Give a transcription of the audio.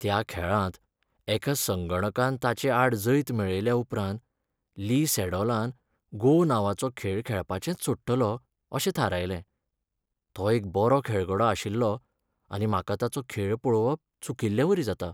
त्या खेळांत एका संगणकान ताचे आड जैत मेळयल्या उपरांत ली सॅडॉलान "गो" नांवाचो खेळ खेळपाचेंच सोडटलों अशें थारायलें. तो एक बरो खेळगडो आशिल्लो आनी म्हाका ताचो खेळ पळोवप चुकिल्लेवरी जाता.